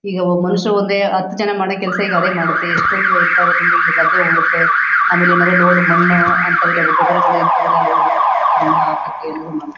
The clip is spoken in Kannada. ಈಗ ಮನಶರು ಒಂದೇ ಹತ್ ಜನ ಮಾಡೋ ಕೆಲಸ ಈಗ ಅದೇ ಮಾಡುತ್ತೆ. ಎಷ್ಟೊಂದು ಹೆಲ್ಪ್ ಆಗುತ್ತೆ ಅಂದ್ರೆ ಇ ಗದ್ದೆ ಹುಳುತ್ತೆ ಆಮೇಲೆ ಏನಾದ್ರು ಲೋಡ್ ಮಣ್ಣು ಅಂತವೆಲ್ಲಾ ಗೊಬ್ರಗಳು ಇಂತವೆಲ್ಲಾ ಲೋಡು ತಗೊಂಡ್ ಹೋಗಿ ಹಾಕೋಕೆ ಎಲ್ಲಾದು ಮಾಡು --.